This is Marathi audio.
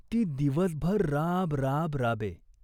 ती दिवसभर राब राब राबे.